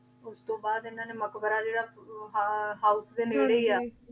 ਓਸ ਤੋਂ ਬਾਅਦ ਏਨਾ ਨੇ ਮਕ਼ਬਰਾ ਜੇਰਾ house ਦੇ ਨੇਰੇ ਈ ਆ